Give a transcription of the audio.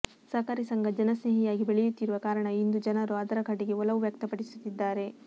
ಸಹಕಾರಿ ಸಂಘ ಜನಸ್ನೇಹಿಯಾಗಿ ಬೆಳೆಯುತ್ತಿರುವ ಕಾರಣ ಇಂದು ಜನರು ಅದರ ಕಡೆಗೆ ಒಲವು ವ್ಯಕ್ತಪಡಿಸುತ್ತಿದ್ದಾರೆ